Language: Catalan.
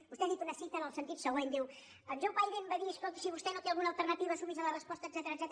vos·tè ha dit una cita en el sentit següent diu en john biden va dir escolti si vostè no té alguna alternati·va sumi’s a la resposta etcètera